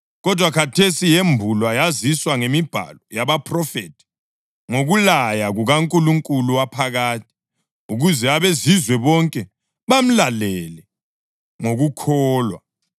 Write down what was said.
kodwa khathesi yambulwe yaziswa ngemibhalo yabaphrofethi ngokulaya kukaNkulunkulu waphakade, ukuze abaZizwe bonke bamlalele ngokukholwa,